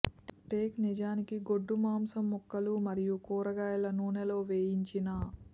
take నిజానికి గొడ్డు మాంసం ముక్కలు మరియు కూరగాయల నూనె లో వేయించిన